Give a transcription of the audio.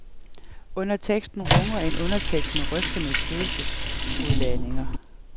Under teksten runger en undertekst med rystende følelsesudladninger.